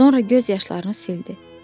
Sonra göz yaşlarını sildi.